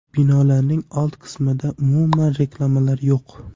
Binolarning old qismida umuman reklamalar yo‘q.